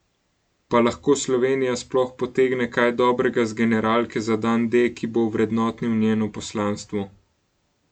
Pa lahko Slovenija sploh potegne kaj dobrega z generalke za dan D, ki bo ovrednotil njeno poslanstvo?